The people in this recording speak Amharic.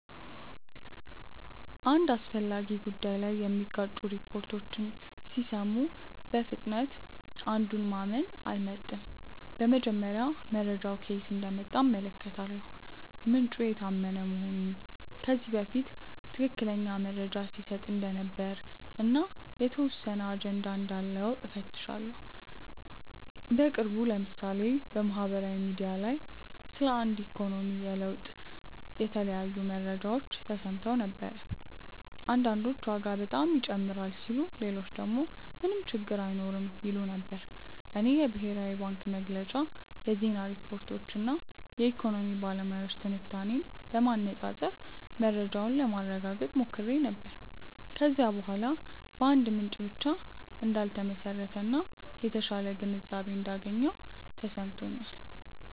አንድ አስፈላጊ ጉዳይ ላይ የሚጋጩ ሪፖርቶችን ሲሰሙ በፍጥነት አንዱን ማመን አልመርጥም። በመጀመሪያ መረጃው ከየት እንደመጣ እመለከታለሁ፤ ምንጩ የታመነ መሆኑን፣ ከዚህ በፊት ትክክለኛ መረጃ ሲሰጥ እንደነበር እና የተወሰነ አጀንዳ እንዳለው እፈትሻለሁ። በቅርቡ ለምሳሌ በማህበራዊ ሚዲያ ላይ ስለ አንድ የኢኮኖሚ ለውጥ የተለያዩ መረጃዎች ተሰምተው ነበር። አንዳንዶች ዋጋ በጣም ይጨምራል ሲሉ ሌሎች ደግሞ ምንም ችግር አይኖርም ይሉ ነበር። እኔ የብሔራዊ ባንክ መግለጫ፣ የዜና ሪፖርቶች እና የኢኮኖሚ ባለሙያዎች ትንታኔዎችን በማነፃፀር መረጃውን ለማረጋገጥ ሞክሬ ነበር። ከዚያ በኋላ በአንድ ምንጭ ብቻ እንዳልተመሰረተ እና የተሻለ ግንዛቤ እንዳገኘሁ ተሰምቶኛል።